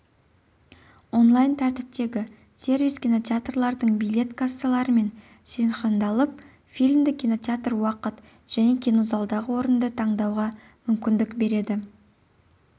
онлайн тәртіптегі сервис кинотеатрлардың билет кассаларымен синхрондалып фильмді кинотеатр уақыт және кинозалдағы орынды таңдауға мүмкіндік береді